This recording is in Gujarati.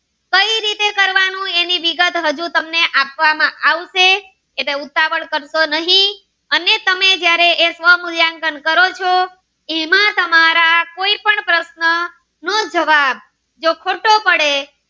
હું તમને એની વિગત હજી તમને આપવામાં આવશે એટલે ઉતાવળ કરશો નહી અને તમે જયારે સ્વ મુલ્યાંકન કરો છો એમાં તમારા કોઈ પણ પ્રશ્નો નો જવાબ જો ખોટો પડે